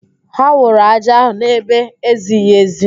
Ha wụrụ ájá ahụ n'ebe ezighi ezi